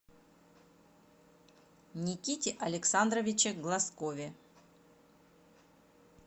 никите александровиче глазкове